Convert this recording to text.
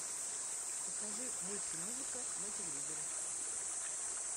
покажи мультимузыка на телевизоре